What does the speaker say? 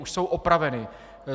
Už jsou opraveny.